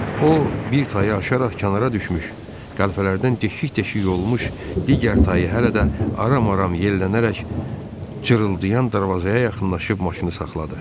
O, bir tayı aşaraq kənara düşmüş, qəlpələrdən deşik-deşik olmuş digər tayı hələ də aram-aram yellənərək cırıldayan darvazaya yaxınlaşıb maşını saxladı.